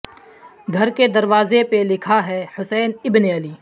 گھر کے دروازے پہ لکھا ہے حسین ابن علی